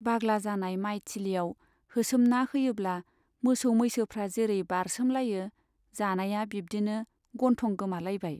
बाग्ला जानाय माइ थिलियाव होसोमना होयोब्ला मोसौ मैसोफ्रा जैरै बारसोमलायो जानाया, बिब्दिनो गन्थं गोमालायबाय।